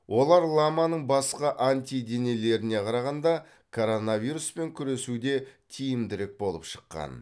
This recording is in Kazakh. олар ламаның басқа антиденелеріне қарағанда коронавируспен күресуде тиімдірек болып шыққан